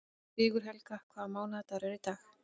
Sigurhelga, hvaða mánaðardagur er í dag?